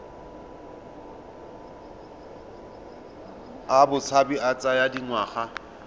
a botshabi a tsaya dingwaga